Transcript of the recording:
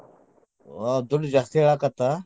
ಆ ದುಡ್ಡ್ ಜಾಸ್ತಿ ಹೇಳಾಕತ್ತ.